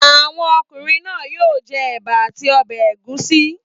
Àwọn ọkùnrin náà yóò jẹ ẹ̀bà a ti ọbẹ̀ ẹ̀gúsí!